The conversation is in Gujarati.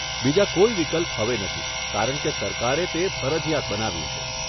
બીજા કોઈ વિકલ્પ હવે નથી કારણકે સરકારે તે ફરજીયાત બનાવ્યું છે.